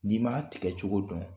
N'i m'a tigɛ cogo dɔn